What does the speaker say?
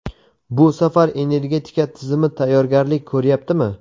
Bu safar energetika tizimi tayyorgarlik ko‘ryaptimi?.